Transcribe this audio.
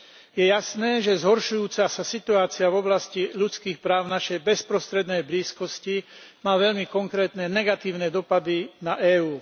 Je jasné, že zhoršujúca sa situácia v oblasti ľudských práv v našej bezprostrednej blízkosti má veľmi konkrétne negatívne dopady na EÚ.